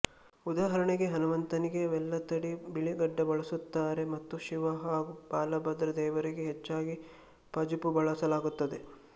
ಉದಾಹರಣೆಗೆ ಹನುಮಂತನಿಗೆ ವೆಲ್ಲ ಥಡಿ ಬಿಳಿ ಗಡ್ಡಬಳಸುತ್ತಾರೆ ಮತ್ತು ಶಿವ ಹಾಗೂ ಬಾಲಭದ್ರ ದೇವರಿಗೆ ಹೆಚ್ಚಾಗಿ ಪಜುಪ್ಪು ಬಳಸಲಾಗುತ್ತದೆ